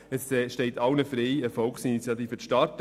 Es steht jedoch allen frei, eine Volksinitiative zu starten.